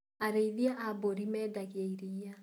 Arĩĩthia a mbũri mendagia iria.